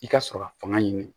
I ka sɔrɔ ka fanga ɲini